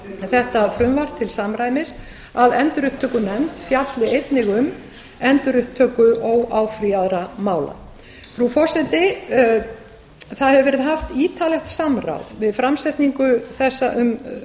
þetta frumvarp til samræmis að endurupptökunefnd fjalli einnig um endurupptöku óáfrýjaðra mála frú forseti það hefur verið haft ítarlegt samráð um